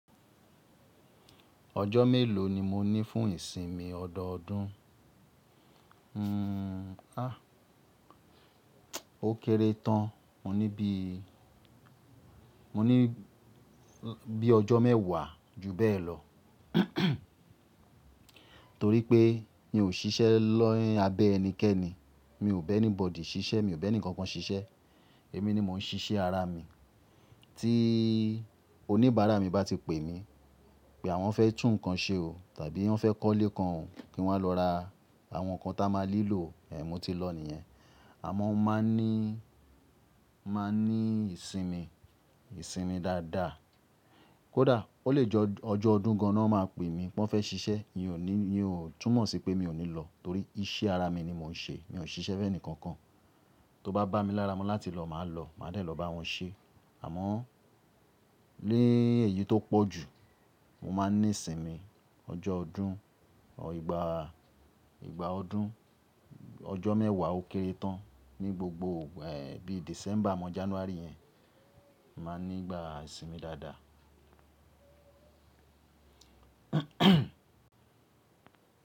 Ọjọ́ mélòó ni mo ní fún ìsinmi ọdọọdún? Hmm, ah, ó kéré tán. Mo ní bí, mo ní bí ọjọ́ mẹ́wàá ju bẹ́ẹ̀ lọ. Torí pé mi ò ṣiṣẹ́ lo, ni abẹ́ ẹnikẹ́ni. Mi ò bẹ́ anybody ṣiṣẹ́, mi ò bẹ́ nìkan kan ṣiṣẹ́. Èmi ni mò ń ṣiṣẹ́ ara mi. Tí oníbàárà mi bá ti pè mí pé àwọn fẹ́ tún nǹkan ṣe o, tàbí wọ́n fẹ́ kọ́lé kan kí wọ́n lọ ra àwọn nǹkan tí a máa nilò, e mo ti lọ nìyẹn. A àmọ́ máa ní, máa ní ìsinmi, ìsinmi dáadáa. Kódà ó lè jẹ́ ọjọ́ ọdún gan-an lo máa pè mí pé wọ́n fẹ́ ṣiṣẹ́, mi ò ní, mi ò túmọ̀ sí pé mi ò ní lọ torí iṣẹ́ ara mi ni mò ń ṣe. Mi ò ṣiṣẹ́ fẹ́ ẹnikankan. To bá bá mi lára mú láti lọ, màá lọ, màá dàí lọ bá wọn ṣe. Àmọ́ léèyí tó pọ̀ jù, mo máa ní ìsinmi ọjọ́ ọdún ọ ìgbà, ìgbà ọdún, ọjọ́ mẹ́wàá ó kéré tán ní gbogbo igba, ẹ́ẹ̀, bíi December mọ January yẹn, màá ní ìgbà ìsinmi dáadáa.